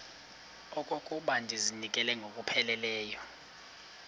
okokuba ndizinikele ngokupheleleyo